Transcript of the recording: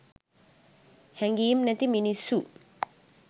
හැඟීම් නැති මිනිස්සු